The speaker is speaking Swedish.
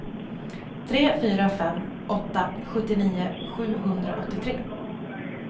tre fyra fem åtta sjuttionio sjuhundraåttiotre